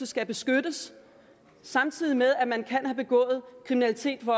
skal beskyttes samtidig med at man kan have begået kriminalitet hvor